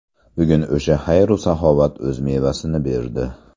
Bugun o‘sha xayr-u saxovat o‘z mevasini berdi.